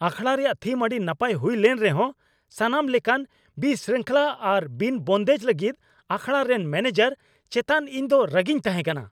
ᱟᱠᱷᱟᱲᱟ ᱨᱮᱭᱟᱜ ᱛᱷᱤᱢ ᱟᱹᱰᱤ ᱱᱟᱯᱟᱭ ᱦᱩᱭ ᱞᱮᱱ ᱨᱮᱦᱚᱸ, ᱥᱟᱱᱟᱢ ᱞᱮᱠᱟᱱ ᱵᱤᱥᱨᱤᱝᱠᱷᱚᱞᱟ ᱟᱨ ᱵᱤᱱᱼ ᱵᱚᱱᱫᱮᱡ ᱞᱟᱹᱜᱤᱫ ᱟᱠᱷᱟᱲᱟ ᱨᱮᱱ ᱢᱚᱱᱮᱡᱟᱨ ᱪᱮᱛᱟᱱ ᱤᱧ ᱫᱚ ᱨᱟᱹᱜᱤᱧ ᱛᱟᱦᱮᱸᱠᱟᱱᱟ ᱾